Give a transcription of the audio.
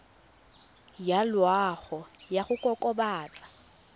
ya loago ya go kokobatsa